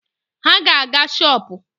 Ha ga-aga shọpụ